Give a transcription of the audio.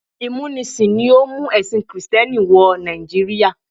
Ìmúnisìn ló mú ẹ̀sìn kìrìtẹ́nì wọ Nàìjíríà.